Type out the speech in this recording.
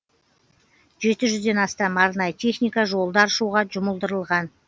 жеті жүзден астам арнайы техника жолды аршуға жұмылдырылған